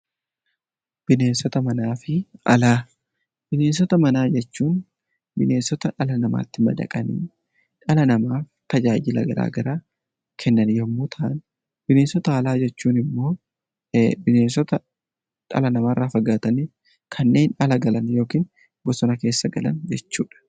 BIneensota manaa jechuun bineensota dhala namaatti madaqanii dhala namaaf tajaajila garaa garaa kennan yommuu ta'an, bineensota alaa jechuun immoo bineensota dhala namaa irraa fagaatanii kanneen ala galan yookiin bosona keessa galan jechuudha.